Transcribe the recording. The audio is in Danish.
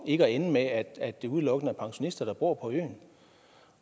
ikke at ende med at det udelukkende er pensionister der bor på øen